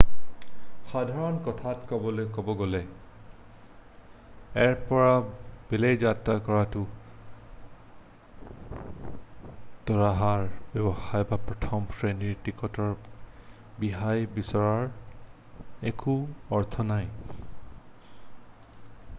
সাধাৰণ কথাত ক'বলৈ গ'লে এৰ পৰা বিলৈ যাত্ৰা কৰোঁতে উৰাজাহাৰ ব্যৱসায় বা প্ৰথম শ্ৰেণীৰ টিকটৰ ৰেহাই বিচৰাৰ একো অৰ্থ নাই